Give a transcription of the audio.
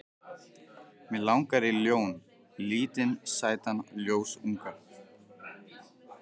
Mig langar í ljón, lítinn sætan ljónsunga.